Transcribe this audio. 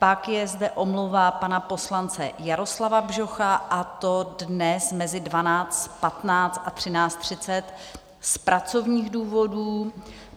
Pak je zde omluva pana poslance Jaroslava Bžocha, a to dnes mezi 12.15 a 13.30 z pracovních důvodů.